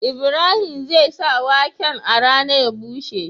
Ibrahim zai sa waken a rana ya bushe